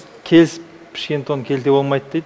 келісіп пішкен тон келте болмайды дейді